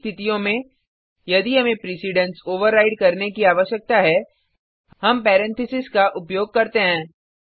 ऐसी स्थितियों में यदि हमें प्रिसिडेंस ओवरराइड करने की आवश्यकता है हम पैरेंथेसिस कोष्ठको का उपयोग करते हैं